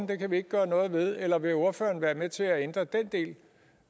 det kan vi ikke gøre noget ved eller vil ordføreren være med til ændre den del